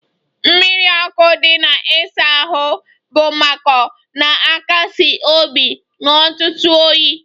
Mmiri ọkụ dị na ịsa ahụ bụ mmakọ na-akasi obi n'ụtụtụ oyi